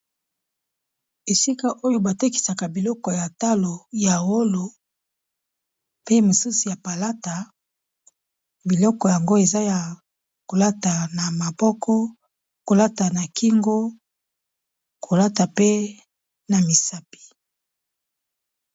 Esika oyo ba tekisaka biloko ya talo ya wolo pe mosusu ya palata. Biloko yango eza ya kolata na maboko, kolata na kingo, kolata pe na misapi.